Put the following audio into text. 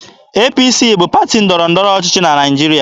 APC bụ pati ndọrọ ndọrọ ọchịchị na Naịjirịa.